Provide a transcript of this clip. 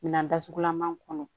Minan datugulan kɔnɔ